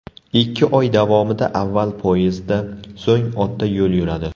Ikki oy davomida avval poyezdda, so‘ng otda yo‘l yuradi.